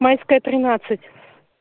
майская тринадцать